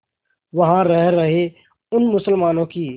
वहां रह रहे उन मुसलमानों की